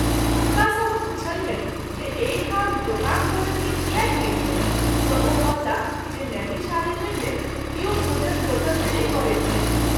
हुनका सँ हम पुछलियनि जे एहि ठाम दुकान भोजन के किएक नहिं छैक त’ ओ कहलाह जे नैमिषारण्य मे किओ भोजन होटल मे नहिं करैत छथि।